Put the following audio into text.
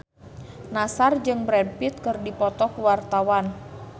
Nassar jeung Brad Pitt keur dipoto ku wartawan